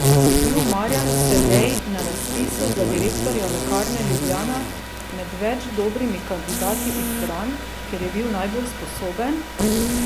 Je bil Marjan Sedej na razpisu za direktorja Lekarne Ljubljana med več dobrimi kandidati izbran, ker je najbolj sposoben?